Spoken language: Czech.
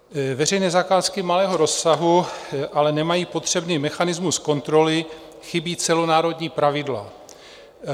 Veřejné zakázky malého rozsahu ale nemají potřebný mechanismus kontroly, chybí celonárodní pravidla.